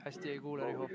Hästi ei kuule, Riho.